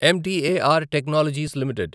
మెటార్ technologies limited